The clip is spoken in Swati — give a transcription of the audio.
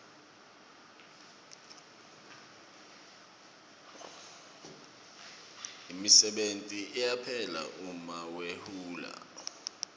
imisebenti iyaphela uma wehule